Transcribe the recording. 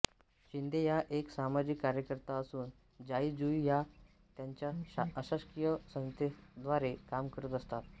शिंदे ह्या एक सामाजिक कार्यकर्त्या असून जाई जुई या त्यांच्या अशासकीय संस्थेद्वारे काम करत असतात